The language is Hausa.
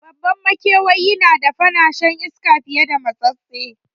Babban makewayi na da kafa na shan iska fiye da matsatstse